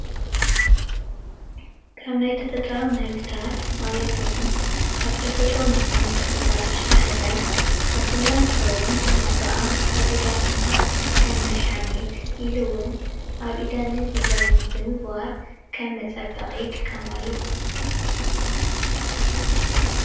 ካብ ናይ ተፈጥራዊ ምህርትታት ማለት እዉን ካብ ናይ ተፈጥሮ ንረኽቦም ተኽልታት ዉሽጢ ሓደ ሳስላ እንትኸዉን እዚ ከዓ ኣዴታትና ከም መድሓኒት ኢሉ እዉን ኣብ ኢደንን እግረንን ብምግባር ከም መፀበቒ ይጥቀማሉ፡፡